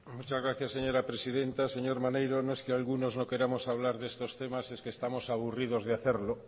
muchas gracias señora presidenta señor maneiro no es que algunos no queremos hablar de estos temas es que estamos aburridos de hacerlo